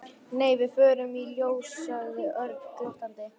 Nei, við förum í ljós sagði Örn glottandi.